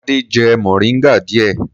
Bàbá Adé jẹ mòríngà díẹ̀.